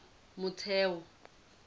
motheo